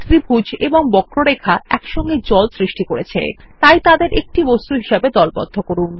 ত্রিভুজ এবং বক্ররেখা একসঙ্গে জল সৃষ্টি করছে তাই তাদের একটি বস্তু হিসাবে দলবদ্ধ করুন